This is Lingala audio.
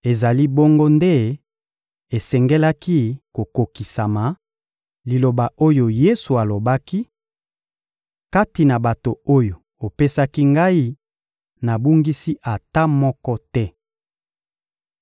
Ezali bongo nde esengelaki kokokisama, liloba oyo Yesu alobaki: «Kati na bato oyo opesaki ngai, nabungisi ata moko te.»